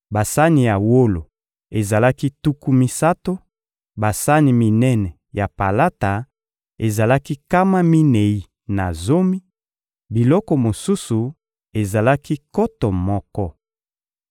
basani ya wolo ezalaki tuku misato; basani minene ya palata ezalaki nkama minei na zomi; biloko mosusu ezalaki nkoto moko.